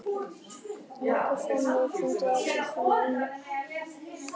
Nokkrir framleiðendur fundust á pylsum en einungis einn á pylsubrauðum, Myllan.